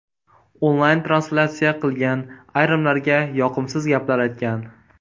Onlayn translyatsiya qilgan , ayrimlarga yoqimsiz gaplar aytgan.